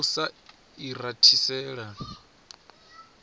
ha u sa i rathisela